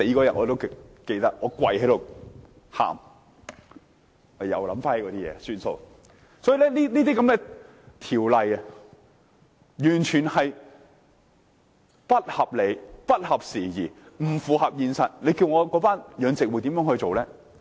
由此可見，這些條例完全不合理、不合時宜、不符合現實，叫那些養魚戶怎麼辦？